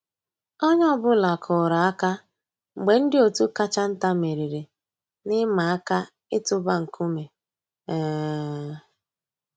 Ónyé ọ̀ bụ́là kùrù àkà mg̀bé ndị́ ótú kàchà ntá mèrírí n'ị̀màà àká ị̀tụ́bà nkúmé. um